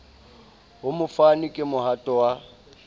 ho mofani ke mohato wa